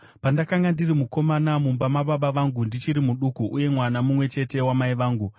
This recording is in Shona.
Pandakanga ndiri mukomana mumba mababa vangu, ndichiri muduku uye mwana mumwe chete wamai vangu,